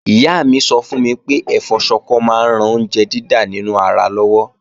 Ìyá mi sọ fún mi pé ẹ̀fọ́ Ṣọkọ máa ń ran oúnjẹ dídà nínú ara lọ́wọ́